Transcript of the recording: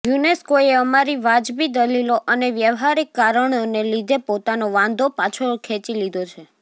યુનેસ્કોએ અમારી વાજબી દલીલો અને વ્યવહારિક કારણોને લીધે પોતાનો વાંધો પાછો ખેંચી લીધો છે